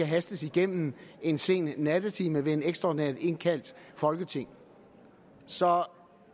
hastes igennem en sen nattetime ved et ekstraordinært indkaldt folketing så